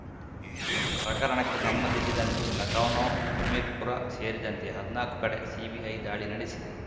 ಪ್ರಕರಣಕ್ಕೆ ಸಂಬಂಧಿಸಿದಂತೆ ಲಖನೌ ಹಮಿರ್‌ಪುರ ಸೇರಿದಂತೆ ಹದ್ನಾಕು ಕಡೆ ಸಿಬಿಐ ದಾಳಿ ನಡೆಸಿದೆ